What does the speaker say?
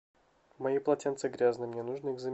мои полотенца грязные мне нужно их заменить